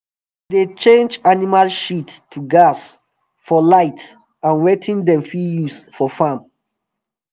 dem dey change animal shit to gas for light and wetin dem fit use for farm